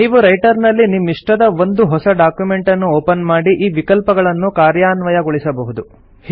ನೀವು ರೈಟರ್ ನಲ್ಲಿ ನಿಮ್ಮಿಷ್ಟದ ಒಂದು ಹೊಸ ಡಾಕ್ಯುಮೆಂಟನ್ನು ಒಪನ್ ಮಾಡಿ ಈ ವಿಕಲ್ಪಗಳನ್ನು ಕಾರ್ಯಾನ್ವಯಗೊಳಿಸಬಹುದು